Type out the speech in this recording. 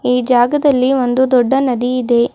ಈ ಜಾಗದಲ್ಲಿ ಒಂದು ದೊಡ್ಡ ನದಿ ಇದೆ.